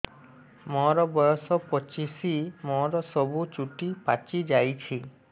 ମୋର ବୟସ ପଚିଶି ମୋର ସବୁ ଚୁଟି ପାଚି ଯାଇଛି